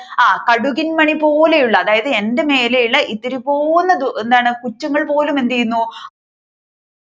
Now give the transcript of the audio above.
ആഹ് കടുകിൻ മണി പോലെയുള്ള അതായത് എന്റെ മേലെയുള്ള ഇത്തിരിപ്പോന്ന പുച്ചങ്ങൾ പോലും എന്ത് ചെയ്യുന്നു